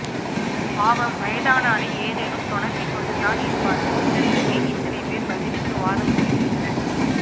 பாவம் வயதானாலே ஏதேனும் தொணப்பிக் கொண்டுதான் இருப்பார்கள் இதற்க்கு ஏன் இத்தனை பேர் பதிலுக்கு வாதம் செய்கிறீர்கள்